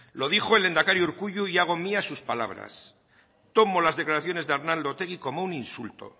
lo dijo el lehendakari urkullu y hago mías sus palabras tomo las declaraciones de arnaldo otegi como un insulto